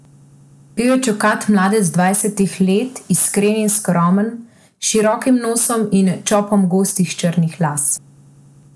Bil je čokat mladec dvajsetih let, iskren in skromen, s širokim nosom in čopom gostih črnih las.